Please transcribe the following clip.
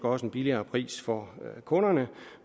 også en billigere pris for kunderne